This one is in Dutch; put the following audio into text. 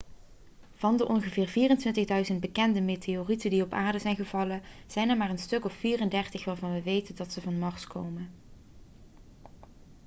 van de ongeveer 24.000 bekende meteorieten die op aarde zijn gevallen zijn er maar een stuk of 34 waarvan we weten dat ze van mars komen